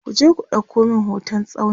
kuje ku ɗauko min hoton tsauni!